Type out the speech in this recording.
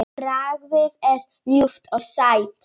Bragðið er ljúft og sætt.